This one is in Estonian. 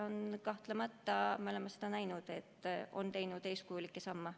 Ning me oleme näinud, et ta on astunud eeskujulikke samme.